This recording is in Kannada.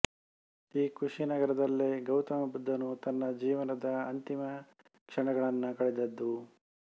ಈ ಕುಶಿನಗರದಲ್ಲೇ ಗೌತಮಬುದ್ಧನು ತನ್ನ ಜೀವನದ ಅಂತಿಮ ಕ್ಷಣಗಳನ್ನು ಕಳೆದದ್ದು